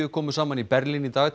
komu saman í Berlín í dag